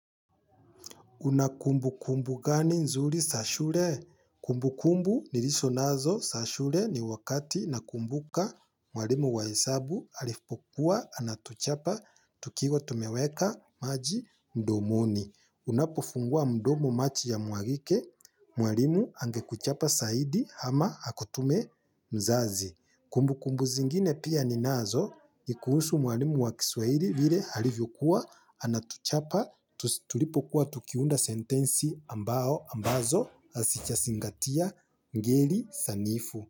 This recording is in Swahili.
Unakumbu kumbu gani nzuri sa shule? Kumbu kumbu nilizo nazo za shule ni wakati nakumbuka mwalimu wa hesabu alipokuwa anatuchapa tukiwa tumeweka maji mdomoni. Unapofungua mdomo machi ya mwagike mwarimu angekuchapa saidi ama akutume mzazi. Kumbu kumbu zingine pia ninazo, nikuhusu mwalimu wa kiswahili vile alivyokuwa, anatuchapa, tulipokuwa tukiunda sentensi ambazo hasichasingatia ngeli sanifu.